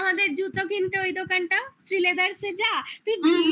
আমাদের জুতো কিনতে ওই দোকানটা শ্রীলেদারসে যা তুই